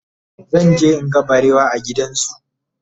zanje in ga barewa a gidan zoo